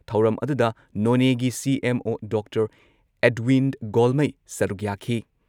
ꯊꯧꯔꯝ ꯑꯗꯨꯗ ꯅꯣꯅꯦꯒꯤ ꯁꯤ.ꯑꯦꯝ.ꯑꯣ. ꯗꯣꯛꯇꯔ ꯑꯦꯗꯋꯤꯟ ꯒꯣꯜꯃꯩ ꯁꯔꯨꯛ ꯌꯥꯈꯤ